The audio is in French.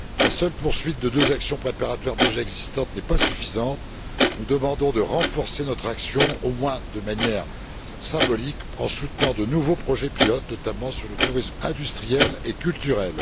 La seule poursuite de deux actions préparatoires déjà existantes n'est pas suffisante. Nous demandons de renforcer notre action, au moins de manière symbolique, en soutenant de nouveaux projets pilote, notamment sur le tourisme industriel et culturel.